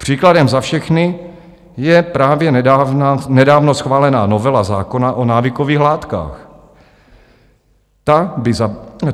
Příkladem za všechny je právě nedávno schválená novela zákona o návykových látkách.